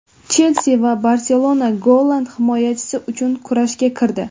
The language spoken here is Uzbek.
"Chelsi" va "Barselona" golland himoyachisi uchun kurashga kirdi.